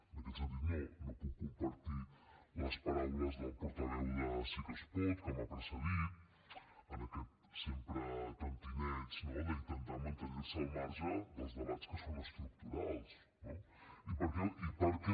en aquest sentit no puc compartir les paraules del portaveu de sí que es pot que m’ha precedit en aquest sempre tentineig no d’intentar mantenirse al marge dels debats que són estructurals no i per què